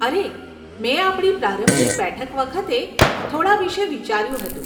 અરે, મેં આપણી પ્રારંભિક બેઠક વખતે થોડાં વિષે વિચાર્યું હતું.